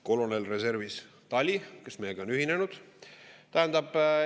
Kolonel reservis Tali, kes meiega on ühinenud!